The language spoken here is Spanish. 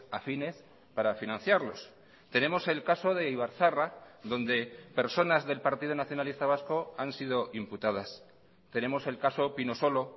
afines para financiarlos tenemos el caso de ibarzaharra donde personas del partido nacionalista vasco han sido imputadas tenemos el caso pinosolo